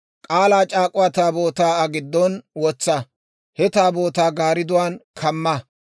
K'aalaa c'aak'uwaa Taabootaa Aa giddon wotsa; He Taabootaa garidduwaan kamma.